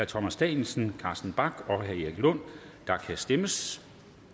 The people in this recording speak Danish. thomas danielsen carsten bach og erik lund og der kan stemmes